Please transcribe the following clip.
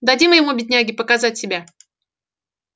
дадим ему бедняге показать себя